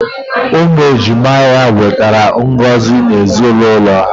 Umu ejima ya nwetara ngozi na ezinaulo ha.